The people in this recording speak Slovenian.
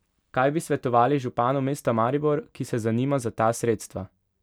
Kaj bi svetovali županu mesta Maribor, ki se zanima za ta sredstva?